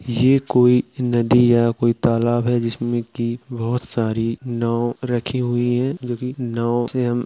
ये कोई नदी या कोई तालाब है जिसमे कि बहोत सारी नाव रखी हुई है जोकि नाव से हम --